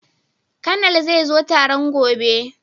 Konal zai zo taron gobe